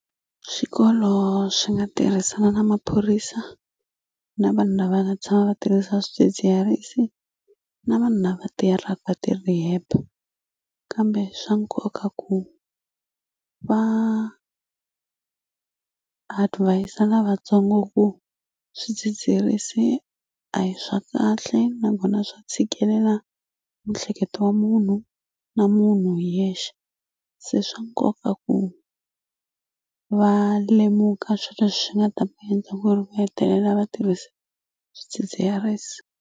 Swikolo swi nga tirhisana na maphorisa na vanhu lava la tshama va tirhisa swidzidziharisi na vanhu lava tirhaka va ti-rehab kambe swa nkoka ku va advis-a lavatsongo ku swidzidziharisi a hi swa kahle nakona swa tshikelela mihleketo wa munhu na munhu hi yexe se swa nkoka ku va lemuka swi leswi nga ta endla ku ri va hetelela va tirhisa swidzidziharisi.